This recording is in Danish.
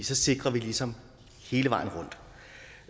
så sikrer vi ligesom hele vejen rundt